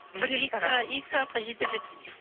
екі сағатқа жетер жетпес